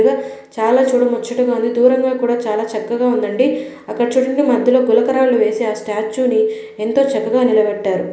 చాలా ముచ్చటగా ఉంది. దూరంగా కూడా చాలా చక్కగా ఉందండి. అక్కడ చూడండి మధ్యలో గులక రాళ్ళు వేసి ఆ స్టాచు ని ఎంతో చక్కగా నిలబెట్టారు.